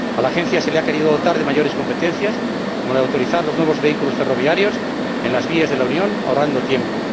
A la Agencia se la ha querido dotar de más competencias, como la de autorizar los nuevos vehículos ferroviarios en las vías de la Unión, ahorrando tiempo.